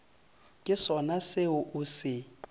ke sona seo o se